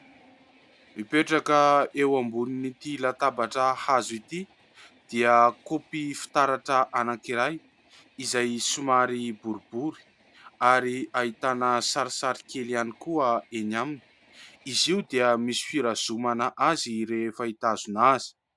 Mipetraka eo ambonin'ity latabatra hazo ity dia kaopy fitaratra anankiray izay somary boribory ary ahitana sarisary kely ihany koa, eny amin'izy io dia misy firazomana azy rehefa hitazona azy.